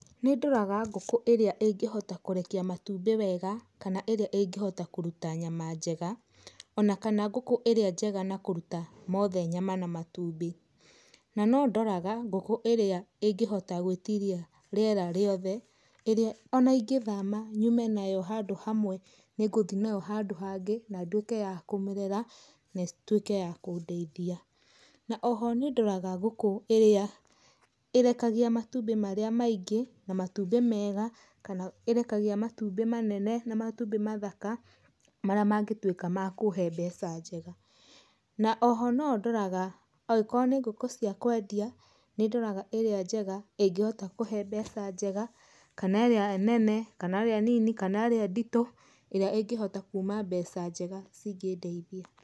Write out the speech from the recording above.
Nĩndoraga ngũkũ ĩrĩa ĩngĩhota kũrekia matumbĩ wega, kana ĩrĩa ĩngĩhota kũruta nyama njega, ona kana ngũkũ ĩrĩa njega na kũruta mothe nyama na matumbĩ. Na nondoraga ngũkũ ĩrĩa ĩngĩhota gwĩtiria rĩera rĩothe ĩrĩa ona ingĩthama nyume nayo handũ hamwe nĩngũthiĩ nayo handũ hangĩ na nduĩke ya kũmĩrera na ĩtuĩke ya kũndeithia. Na oho nĩndoraga gũkũ ĩrĩa ĩrekagia matumbĩ marĩa maingĩ na matumbĩ mega kana ĩrekagia matumbĩ manene na matumbĩ mathaka marĩa mangĩtuĩka ma kũũhe mbeca njega. Na oho nondoraga angĩkorwo nĩ ngũkũ cia kwendia, nĩndoraga ĩrĩa njega ĩngĩhota kũũhe mbeca njega, kana ĩrĩa nene kana ĩrĩa nini, kana ĩrĩa nditũ ĩrĩa ĩngĩhota kuuma mbeca njega cingĩndeithia.